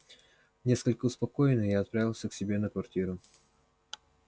несколько успокоенный я отправился к себе на квартиру